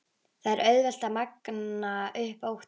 Það er auðvelt að magna upp óttann.